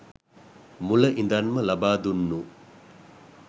මුල ඉඳන්ම ලබා දුන්නු.